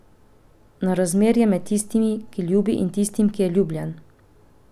Na razmerje med tistim, ki ljubi, in tistim, ki je ljubljen.